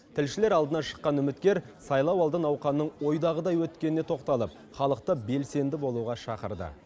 тілшілер алдына шыққан үміткер сайлауалды науқанның ойдағыдай өткеніне тоқталып халықты белсенді болуға шақырды